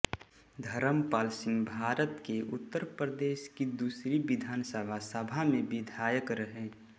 धरमपाल सिंहभारत के उत्तर प्रदेश की दूसरी विधानसभा सभा में विधायक रहे